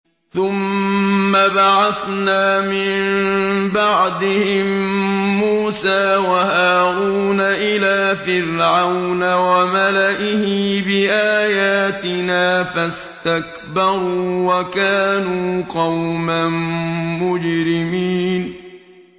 ثُمَّ بَعَثْنَا مِن بَعْدِهِم مُّوسَىٰ وَهَارُونَ إِلَىٰ فِرْعَوْنَ وَمَلَئِهِ بِآيَاتِنَا فَاسْتَكْبَرُوا وَكَانُوا قَوْمًا مُّجْرِمِينَ